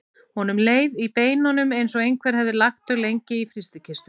Honum leið í beinunum eins og einhver hefði lagt þau lengi í frystikistu.